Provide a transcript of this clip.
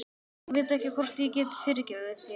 Ég veit ekki hvort ég get fyrirgefið þér.